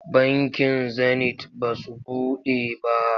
Bankin Zenit ba su buɗe ba.